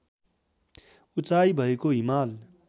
उचाइ भएको हिमाल